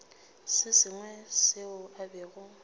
se sengwe seo a bego